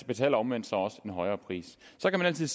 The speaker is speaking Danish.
betaler omvendt så også en højere pris så kan man altid